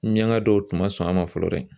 Minianka dɔw tun ma sɔn a ma fɔlɔ dɛ!